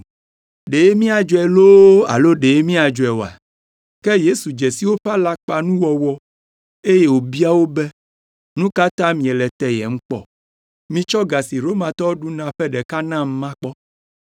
Ɖe míadzɔe loo alo ɖe míadzɔe oa? Ke Yesu dze si woƒe alakpanuwɔwɔ, eye wòbia wo be, “Nu ka ta miele teyem kpɔ? Mitsɔ ga si Romatɔwo ɖuna la ƒe ɖeka nam makpɔ.”